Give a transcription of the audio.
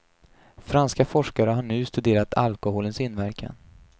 Franska forskare har nu studerat alkoholens inverkan.